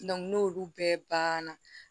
n'olu bɛɛ banna